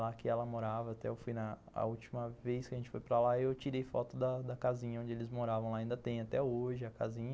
Lá que ela morava, até eu fui na, a última vez que a gente foi para lá, eu tirei foto da da casinha onde eles moravam, ainda tem até hoje a casinha.